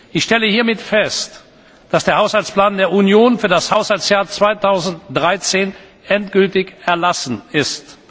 Ich stelle hiermit fest, dass der Haushaltsplan der Union für das Haushaltsjahr 2013 endgültig erlassen ist.